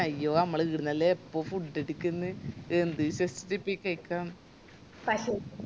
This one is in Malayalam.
അയ്യോ മ്മള് ഈടന്നല്ലേ എപ്പോം food എട്ക്ക്ന്ന് എന്ത് വിശ്വസിച്ചിറ്റ ഇപ്പൊ ഈ കൈക്ക